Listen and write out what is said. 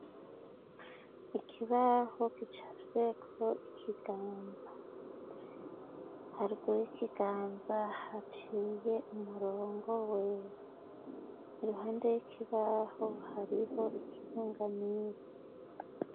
ikibaho kicafyeko ikiganza haruguru ikiganza haciye umurongo wera iruhande y'ikibaho hariho ikirengamisi